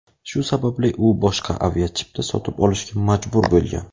Shu sababli u boshqa aviachipta sotib olishga majbur bo‘lgan.